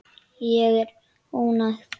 Og ég var ánægð.